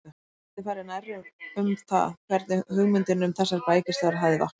Við getum farið nærri um það, hvernig hugmyndin um þessar bækistöðvar hafði vaknað.